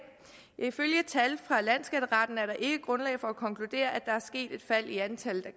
ifølge tal fra landsskatteretten er der ikke grundlag for at konkludere at der er sket et fald i antallet af